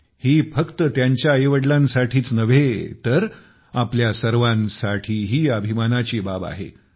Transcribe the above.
ही फक्त त्यांच्या आईवडिलांसाठीच नव्हे तर आपल्या सर्वांसाठीही अभिमानाची बाब गोष्ट आहे